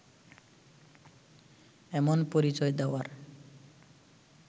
এমন পরিচয় দেওয়ার